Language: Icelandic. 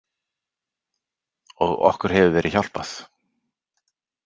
Og okkur hefur verið hjálpað.